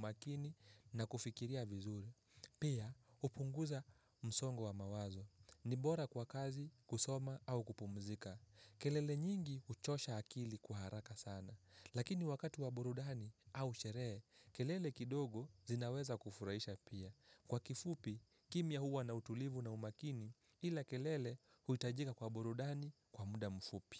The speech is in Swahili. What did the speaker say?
umakini na kufikiria vizuri. Pia hupunguza msongo wa mawazo. Ni bora kwa kazi, kusoma au kupumzika. Kelele nyingi huchosha akili kwa haraka sana. Lakini wakati wa burudani au sherehe, kelele kidogo zinaweza kufurahisha pia. Kwa kifupi, kimya huwa na utulivu na umakini ila kelele huhitajika kwa burudani kwa muda mfupi.